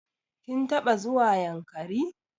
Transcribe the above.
Kin taɓa zuwa Yankari?